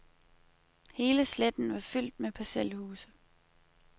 Hele sletten var fyldt med parcelhuse.